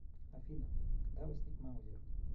афина когда возник маузер